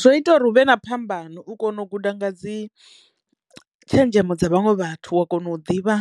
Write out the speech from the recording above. Zwo ita uri huvhe na phambano u kono u guda nga dzi tshenzhemo dza vhaṅwe vhathu wa kono u ḓivha